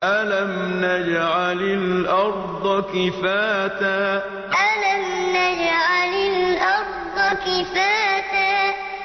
أَلَمْ نَجْعَلِ الْأَرْضَ كِفَاتًا أَلَمْ نَجْعَلِ الْأَرْضَ كِفَاتًا